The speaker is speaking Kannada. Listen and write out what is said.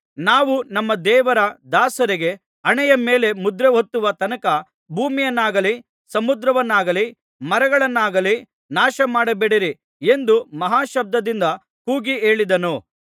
ನಾವು ನಮ್ಮ ದೇವರ ದಾಸರಿಗೆ ಹಣೆಯ ಮೇಲೆ ಮುದ್ರೆ ಒತ್ತುವ ತನಕ ಭೂಮಿಯನ್ನಾಗಲಿ ಸಮುದ್ರವನ್ನಾಗಲಿ ಮರಗಳನ್ನಾಗಲಿ ನಾಶಮಾಡಬೇಡಿರಿ ಎಂದು ಮಹಾಶಬ್ದದಿಂದ ಕೂಗಿ ಹೇಳಿದನು